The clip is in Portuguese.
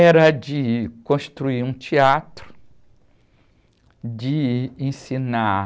Era de construir um teatro, de ensinar...